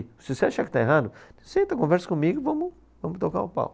Se você achar que está errado, senta, conversa comigo e vamos, vamos tocar o pau.